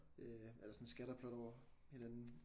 Øh eller sådan et scatterplot over hinanden